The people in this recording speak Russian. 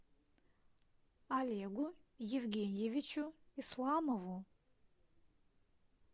олегу евгеньевичу исламову